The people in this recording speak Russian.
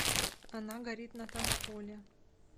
она горит на танцполе